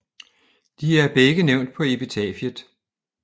De er begge nævnt på epitafiet